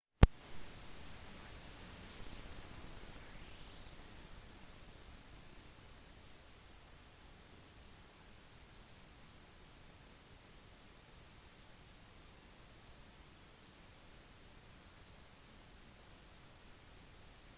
naked news annonserte forrige uke at de ville øke det internasjonale språkmandatet sitt til nyhetsrapportering med hele tre nye kringkastinger